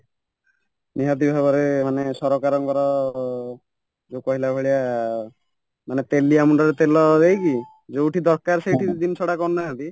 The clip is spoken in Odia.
ନିହାତି ଭାବରେ ମାନେ ସରକାରଙ୍କର ଯୋଉ କହିଲାଭଳିଆ ମାନେ ତେଲିଆ ମୁଣ୍ଡରେ ତେଲ ଦେଇକି ଯୋଉଠି ଦରକାର ସେଇଠି ଜିନିଷ କରୁନାହାନ୍ତି